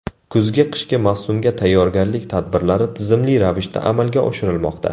Kuzgi-qishki mavsumga tayyorgarlik tadbirlari tizimli ravishda amalga oshirilmoqda.